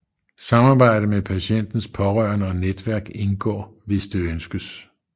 Samarbejde med patientens pårørende og netværk indgår hvis det ønskes